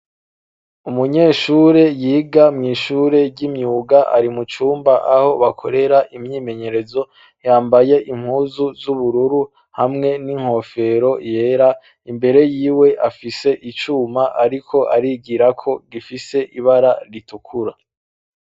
Umunyeshure yiga mw'ishure ry'imyuga ari mu cumba aho bakorera imyimenyerezo yambaye impuzu z'ubururu hamwe n'inkofero yera imbere yiwe afise icuma ariko arigira ko gifise ibara ritukura.